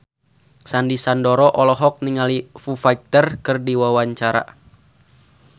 Sandy Sandoro olohok ningali Foo Fighter keur diwawancara